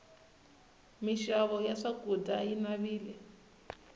mixavo ya swakudya yi navile